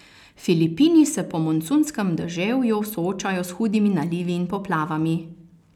Filipini se po monsunskem deževju soočajo s hudimi nalivi in poplavami.